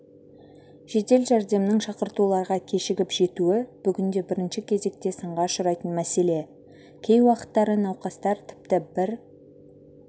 жедел жәрдемнің шақыртуларға кешігіп жетуі бүгінде бірінші кезекте сынға ұшырайтын мәселе кей уақыттары науқастар тіпті бір